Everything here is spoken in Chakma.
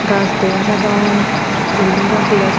gaj dega jadon building gor dega jar.